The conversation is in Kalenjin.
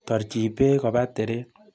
Torchi beek koba teret.